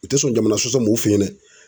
U tɛ sɔn jamana sɔsɔ ma u fe yen dɛ.